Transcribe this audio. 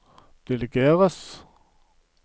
delegeres